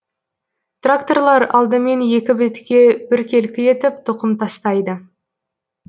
тракторлар алдымен екі бетке біркелкі етіп тұқым тастайды